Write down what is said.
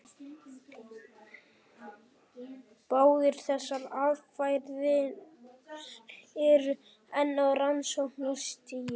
Báðar þessar aðferðir eru enn á rannsóknarstigi.